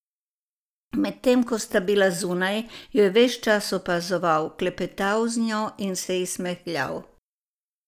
Medtem ko sta bila zunaj, jo je ves čas opazoval, klepetal z njo in se ji smehljal.